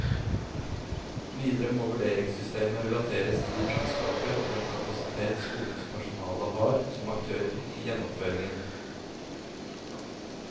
Videre må vurderingssystemet relateres til de kunnskaper og den kapasitet skolens personale har, som aktører i gjennomføringen.